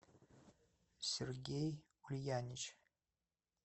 сергей ульянич